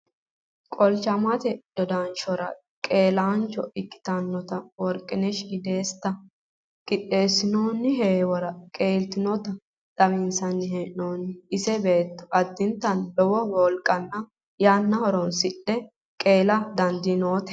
Qolchanshote dodanshora qeelaancho ikkitinota workinesh iddeessita qixxeessinoonni heewora qeeltinota xawinsanni hee'noonni. Ise beetto addintanni lowo wolqanna yanna horoonsidhe qeela dandiiinote.